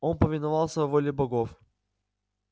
он повиновался воле богов